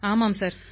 ஆமாம் சார்